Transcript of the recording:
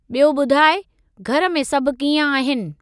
ॿियो ॿुधाइ, घर में सभु कीअं आहिनि ?